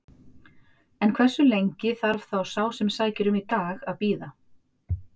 En hversu lengi þarf þá sá sem sækir um í dag að bíða?